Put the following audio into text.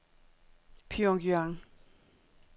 Pyongyang